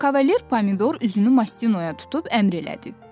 Kavalier Pomidor üzünü Mastinoya tutub əmr elədi.